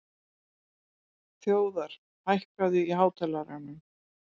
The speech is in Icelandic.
Þjóðar, hækkaðu í hátalaranum.